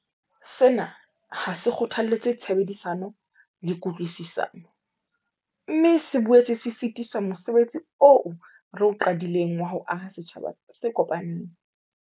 Sena ha se kgothalletse tshebedisano le kutlwisisano, mme se boetse se sitisa mose betsi oo re o qadileng wa ho aha setjhaba se kopaneng.